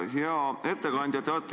Hea ettekandja!